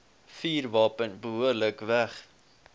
vuurwapen behoorlik weg